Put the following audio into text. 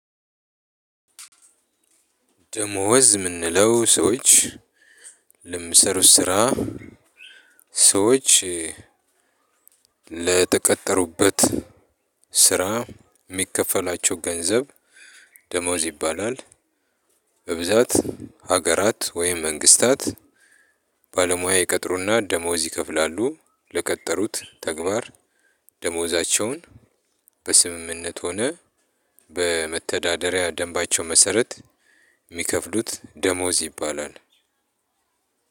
ደሞዝ የምንለው ሰዎች ለምሰሩት ስራ ሰዎች ለተቀጠሩበት ስራ የሚከፈላቸው ገንዘብ ደሞዝ ይባላል። በብዛት ሀገራት ወይም መንግስታት ባለሙያ ይቀጥሩና ደሞዝ ይከፍላሉ። ለቀጠሩት ተግባር ደሞዛቸውን በስምምነት ሆነ በመተዳደሪያ ደንባቸው መሰረት የሚከፍሉት ደሞዝ ይባላል።